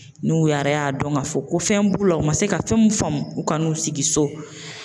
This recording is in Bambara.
N'u yara y'a dɔn ka fɔ ko fɛn b'u la, u ma se ka fɛn mun faamu u kana n'u sigi so